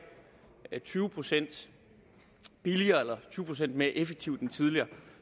tyve procent billigere eller tyve procent mere effektivt end tidligere